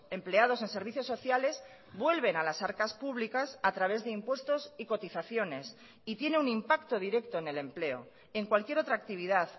empleados en servicios sociales vuelven a las arcas públicas a través de impuestos y cotizaciones y tiene un impacto directo en el empleo en cualquier otra actividad